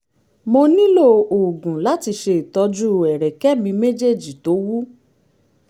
mo nílò oògùn láti ṣe ìtọ́jú ẹ̀rẹ̀kẹ́ mi méjèèjì tó wú